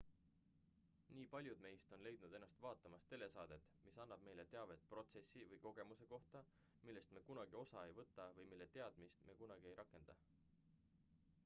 nii paljud meist on leidnud ennast vaatamas telesaadet mis annab meile teavet protsessi või kogemuse kohta millest me kunagi osa ei võta või mille teadmist me kunagi ei rakenda